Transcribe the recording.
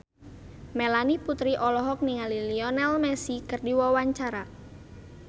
Melanie Putri olohok ningali Lionel Messi keur diwawancara